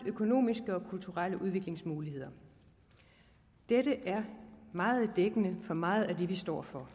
økonomiske og kulturelle udviklingsmuligheder dette er meget dækkende for meget af det vi står for